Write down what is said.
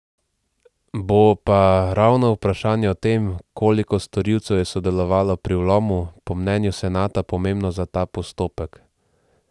Bo pa ravno vprašanje o tem, koliko storilcev je sodelovalo pri vlomu, po mnenju senata pomembno za ta postopek.